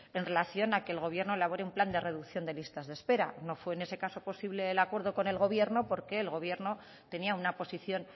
en relación a que el gobierno elabore un plan de reducción de listas de espera no fue en ese caso posible el acuerdo con el gobierno porque el gobierno tenía una posición